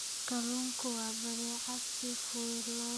Kalluunku waa badeecad si fudud loo kaydin karo.